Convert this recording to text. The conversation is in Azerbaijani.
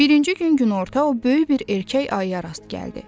Birinci gün günorta o böyük bir erkək ayıya rast gəldi.